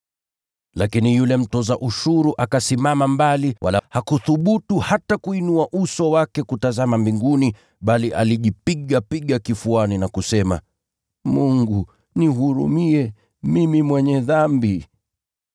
“Lakini yule mtoza ushuru akasimama mbali, wala hakuthubutu hata kuinua uso wake kutazama mbinguni, bali alijipigapiga kifuani na kusema: ‘Mungu, nihurumie, mimi mwenye dhambi.’